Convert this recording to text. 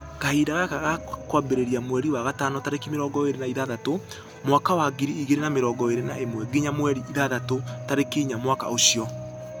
Kahinda gaka gakambĩrĩria mweri wa gatano tarĩki mĩrongo ĩrĩ na ithathatũ mwaka wa ngiri igĩrĩ na mĩrongo ĩrĩ na ĩmwe nginya mweri ithathatũ tarĩki inya mwaka ũshio.